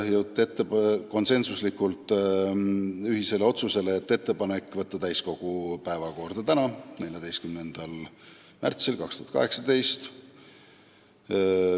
Konsensuslikult jõuti otsusele teha ettepanek saata eelnõu täiskogu päevakorda täna, 14. märtsil 2018.